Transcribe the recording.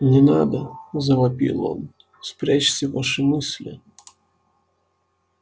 не надо завопил он спрячьте ваши мысли